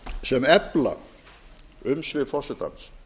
sem efla umsvif forsetans